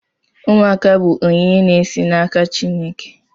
Ụmụaka bụ onyinye na-esi n'aka Chineke.